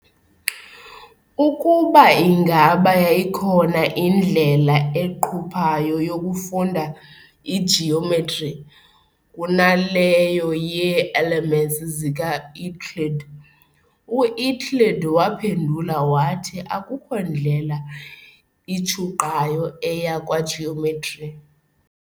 ukuba ingaba yayikhona indlela eqhuphayo yokufunda igeometry kunaleyo yee-"Elements" zikaEuclid, "u-Euclid waphendula wathi akukho ndlela itshuqayo eya kwageometry."